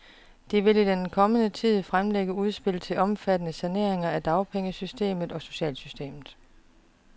De vil i den kommende tid fremlægge udspil til omfattende saneringer af dagpengesystemet og socialsystemet.